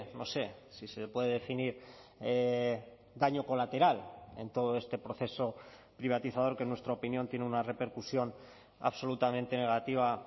no sé si se puede definir daño colateral en todo este proceso privatizador que en nuestra opinión tiene una repercusión absolutamente negativa